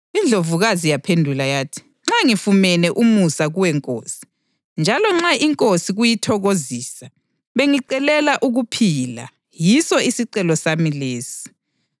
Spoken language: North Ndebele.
INdlovukazi yaphendula yathi, “Nxa ngifumene umusa kuwe nkosi, njalo nxa inkosi kuyithokozisa, bengicelela ukuphila, yiso isicelo sami lesi.